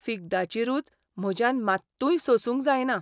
फिग्दाची रूच म्हज्यान मात्तूय सोसूंक जायना.